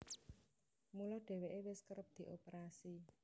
Mula dhèwèké wis kerep dioperasi